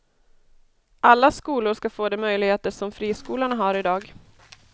Alla skolor ska få de möjligheter som friskolorna har i dag.